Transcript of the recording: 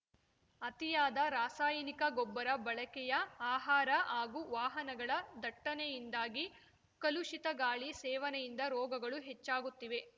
ಅತಿಯಾದ ರಾಸಾಯನಿಕ ಗೊಬ್ಬರ ಬಳಕೆಯ ಆಹಾರ ಹಾಗೂ ವಾಹನಗಳ ದಟ್ಟಣೆಯಿಂದಾಗಿ ಕಲುಷಿತ ಗಾಳಿ ಸೇವನೆಯಿಂದ ರೋಗಗಳು ಹೆಚ್ಚಾಗುತ್ತಿವೆ